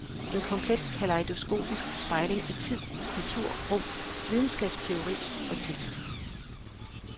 En komplet kalejdoskopisk spejling i tid, kultur, rum, videnskabsteori og tekst.